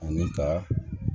Ani ka